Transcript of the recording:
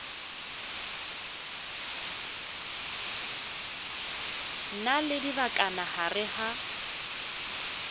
na le dibakana gare ga